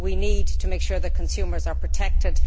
we need to ensure that consumers are protected.